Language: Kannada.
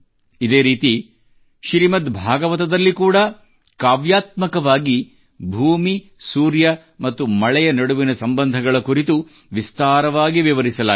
ಇದೇ ರೀತಿ ಶ್ರೀಮದ್ಭಾಗವತದಲ್ಲಿ ಕೂಡಾ ಕಾವ್ಯಾತ್ಮಕವಾಗಿ ಭೂಮಿ ಸೂರ್ಯ ಮತ್ತು ಮಳೆಯ ನಡುವಿನ ಸಂಬಂಧಗಳ ಕುರಿತು ವಿಸ್ತಾರವಾಗಿ ವಿವರಿಸಲಾಗಿದೆ